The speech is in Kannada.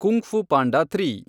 kung Fu Panda three